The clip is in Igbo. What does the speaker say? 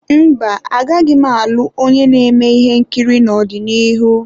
Mba, agaghị m alụ onye na-eme ihe nkiri n'ọdịnihu.